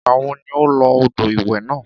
Ìgbà wo ni o lo odò ìwẹ̀ náà?